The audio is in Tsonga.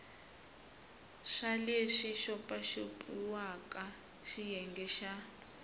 swa leswi xopaxopiwaka xiyenge xa